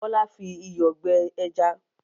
Bọ́lá fi iyọ̀ gbẹ ẹja?